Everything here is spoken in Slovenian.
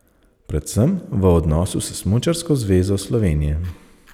Predvsem v odnosu s Smučarsko zvezo Slovenije.